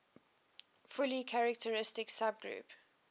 fully characteristic subgroup